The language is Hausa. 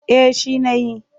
Eh shi na yi.